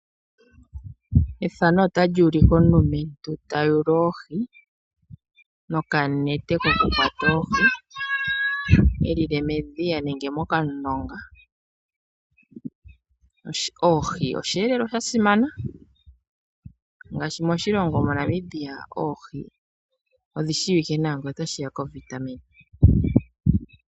Aantu momikunda ohaya hupu mokuhuga oohi momadhiya nenge momulonga. Oohi ohadhi gandja oshiyelelwa moshigwana oshoka odhi na uundjolowele, nenge dhi gandje iimaliwa ngele odha landithwa.